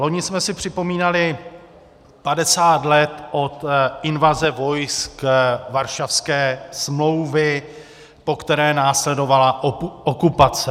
Loni jsme si připomínali 50 let od invaze vojsk Varšavské smlouvy, po které následovala okupace.